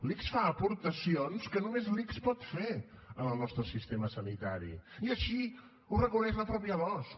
l’ics fa aportacions que només l’ics pot fer en el nostre sistema sanitari i així ho reconeix la mateixa losc